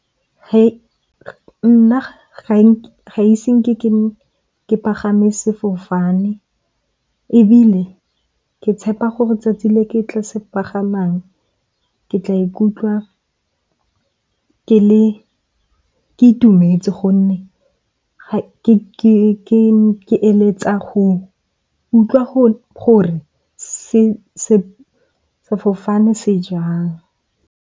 Nna ga ise nke ke pagame sefofane. Ebile ke tshepa gore 'tsatsi le ke tlo se pagamang ke tla ikutlwa ke itumetse, gonne ga ke eletsa go utlwa gore sefofane se jang.